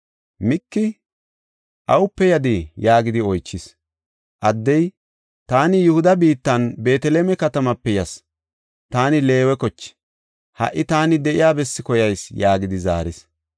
Miki, “Awupe yadii?” yaagidi oychis. Addey, “Taani Yihuda biitta Beeteleme katamaape yas; taani Leewe koche. Ha77i taani de7iya bessi koyayis” yaagidi zaaris.